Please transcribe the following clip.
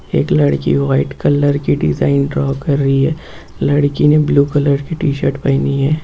एक लड़की white colour की डिजाइन ड्रॉ कर रही है लड़की ने ब्लू कलर की टीशर्ट पहनी है।